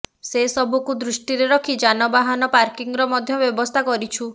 ସେ ସବୁକୁ ଦୃଷ୍ଟିରେ ରଖି ଯାନବାହନ ପାର୍କିଂର ମଧ୍ୟ ବ୍ୟବସ୍ଥା କରିଛୁ